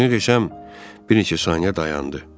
Düzünü desəm bir neçə saniyə dayandı.